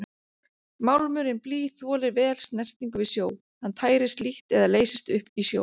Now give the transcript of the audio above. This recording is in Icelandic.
Málmurinn blý þolir vel snertingu við sjó, hann tærist lítt eða leysist upp í sjó.